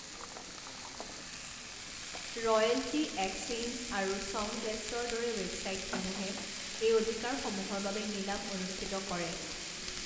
Royalty exchange আৰু চংভেষ্টৰ দৰে ৱেবছাইটসমূহে এই অধিকাৰসমূহৰ বাবে নিলাম অনুষ্ঠিত কৰে।